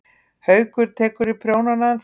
Haukur: Tekurðu í prjónana ennþá?